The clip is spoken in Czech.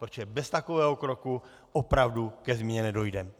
Protože bez takového kroku opravdu ke změně nedojdeme.